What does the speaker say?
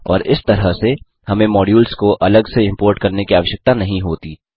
और इस तरह से हमें मॉड्यूल्स को अलग से इम्पोर्ट करने की आवश्यकता नहीं होती